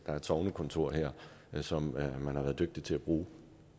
er et sognekontor som man har været dygtig til at bruge